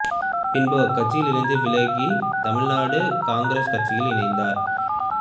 பின்பு அக்கட்சியில் இருந்து விலகி தமிழ்நாடு காங்கிரஸ் கட்சியில் இணைத்தார்